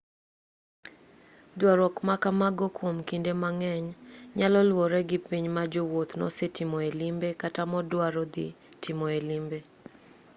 duarruoge ma kamago kwom kinde mang'eny nyalo luwore gi piny ma jawuoth nosetimoe limbe kata moduaro dhi timoe limbe